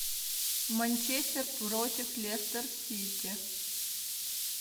манчестер против лестер сити